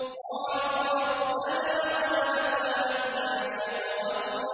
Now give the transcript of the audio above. قَالُوا رَبَّنَا غَلَبَتْ عَلَيْنَا شِقْوَتُنَا